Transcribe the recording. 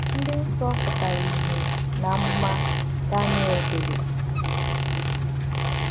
Ndị nsọ pụtara ìhè n’amụma Daniel dere.